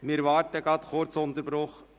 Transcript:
Wir machen einen kurzen Unterbruch.